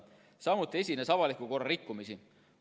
Samuti esines avaliku korra rikkumisi.